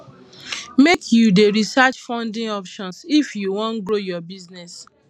make you dey research funding options if you wan grow your business